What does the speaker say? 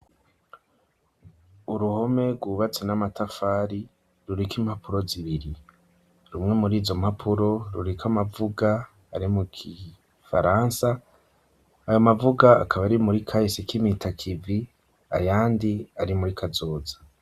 Uruhome rwubatse n'amatafari ruriko impapuro zibiri, rumwe muri izo mpapuro ruriko amavuga ari mu kifaransa, ayo mavuga akaba ari muri kahise kimpitakivi ayandi ari muri kazoza.